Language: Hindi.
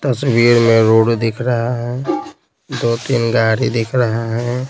तस्वीर में रोड दिख रहा है दो तीन गाड़ी दिख रहा है।